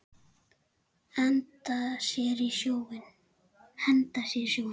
Henda sér í sjóinn?